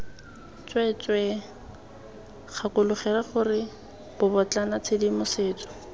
tsweetswee gakologelwa gore bobotlana tshedimosetso